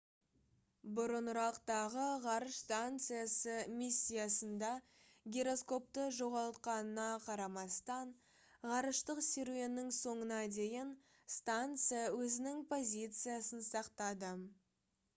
бұрынырақтағы ғарыш станциясы миссиясында гироскопты жоғалтқанына қарамастан ғарыштық серуеннің соңына дейін станция өзінің позициясын сақтады